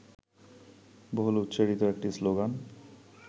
বহুল উচ্চারিত একটি শ্লোগান